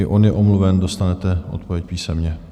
I on je omluven, dostanete odpověď písemně.